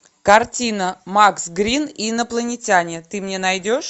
картина макс грин и инопланетяне ты мне найдешь